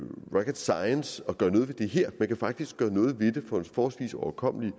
rocket science at gøre noget ved det her man kan faktisk gøre noget ved det for forholdsvis overkommelige